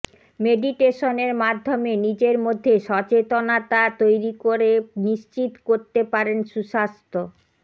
মেডিটেশনের মাধ্যমে নিজের মধ্যে সচেতনতা তৈরি করে নিশ্চিত করতে পারেন সুস্বাস্থ্য